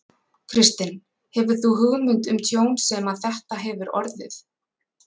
Kristinn: Hefur þú hugmynd um tjón sem að þetta hefur orðið?